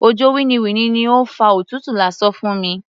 Òjò winniwinni ni ó fa òtútù lásán fún mi.